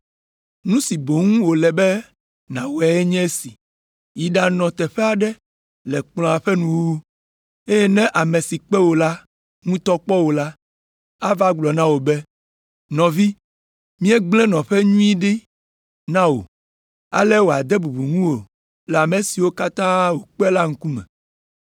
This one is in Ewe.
“Nu si boŋ wòle be nàwɔe nye esi, yi ɖanɔ teƒe aɖe le kplɔ̃a ƒe nuwuwu, eye ne ame si kpe wò la ŋutɔ kpɔ wò la, ava gblɔ na wò be, ‘Nɔvi, míegblẽ nɔƒe nyui aɖe ɖi na wò!’ Ale wòade bubu ŋuwò le ame siwo katã wòkpe la ŋkume.